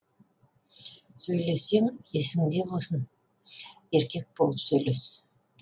сөйлессең есінде болсын еркек болып сөйлес